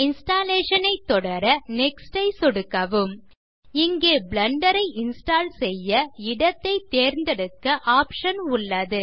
installation ஐ தொடர next ஐ சொடுக்கவும் இங்கே பிளெண்டர் ஐ இன்ஸ்டால் செய்ய இடத்தை தேர்ந்தெடுக்க ஆப்ஷன் உள்ளது